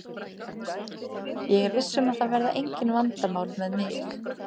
Ég er viss um að það verða engin vandamál með mig.